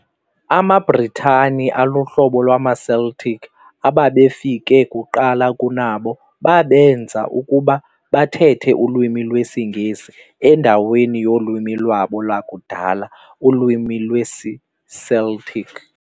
amaBritane aluhlobo lwamaCeltic ababefike kuqala kunabo, babenza ukuba bathethe ulwimi lwesingesi endaweni yolwimi lwabo lwakudala ulwimi lwesiCeltic.